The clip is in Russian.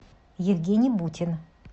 евгений бутин